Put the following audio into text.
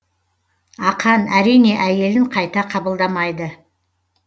ақан әрине әйелін қайта қабылдамайды